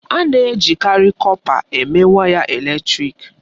A na-ejikarị kọpa eme waya eletrịk.